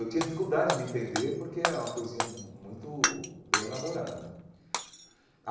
Eu tinha dificuldade de entender porque é uma poesia mu muito bem elaborada.